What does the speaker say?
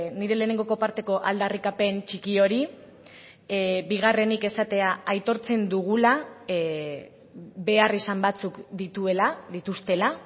nire lehenengoko parteko aldarrikapen txiki hori bigarrenik esatea aitortzen dugula beharrizan batzuk dituela dituztela